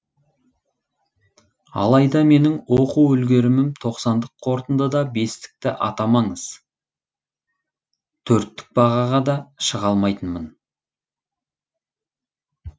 алайда менің оқу үлгерімім тоқсандық қорытындыда бестікті атамаңыз төрттік бағаға да шыға алмайтынмын